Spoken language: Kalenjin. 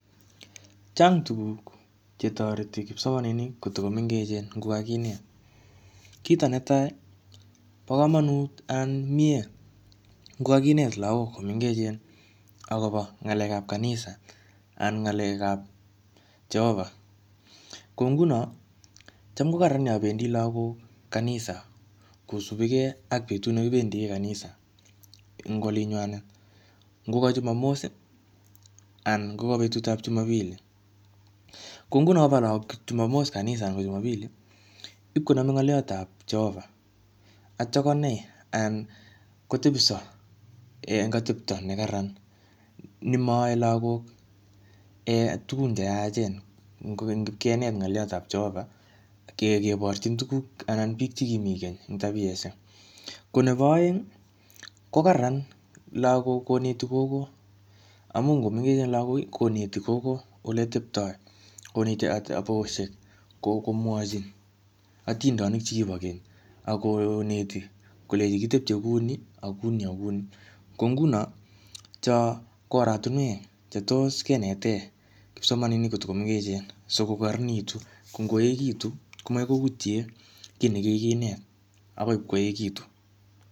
Chang tuguk che toreti kipsomaninik kotiko mengechen ngokakinet. Kito netai, bo komonut anan mie ngo kakinet lagok komengechen akobo ng'alekap kanisa, anan ng'alekap Jehovah. Ko nguno, cham ko kararan yabendi lagok kanisa kosubikey ak betut ne kibendie kanisa eng olinywanet. Ngoka Jumamos, anan ngoka betutap Jumapili. Ko nguno koba lagok kanisa anan Jumapili, ipkoname ngoliot ap Jehovah. Atya konai anan kotepso eng atepto ne kararan nemaae lagok um tugun che yaachen. Kokeny ngipkenet ng'oliot ap Jehovah, ke-keborchin tugk ana biik che kimi keny eng tabiosiek. Ko nebo aeng, ko kararan lagok koneti gogo. Amu ngomengechen lagok, koneti gogo ole teptoi. Koneti, komwachin atindonik chekibo keny. Akoneti kolechi kitepche kuni, akuni akuni. Ko nguno, cho ko oratunwek che tos kenete kipsomaninik kotiko mengechen sikokararanitu. Ko ngoekitu, ko makoi koutie kiy nekikinet akoi ipkoekitu.